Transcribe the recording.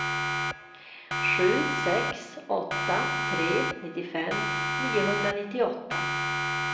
sju sex åtta tre nittiofem niohundranittioåtta